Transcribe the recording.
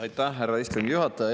Aitäh, härra istungi juhataja!